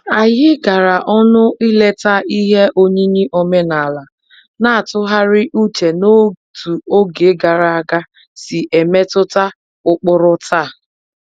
Anyị gara ọnụ ileta ihe oyiyi omenala, na-atụgharị uche n'otú oge gara aga si emetụta ụkpụrụ taa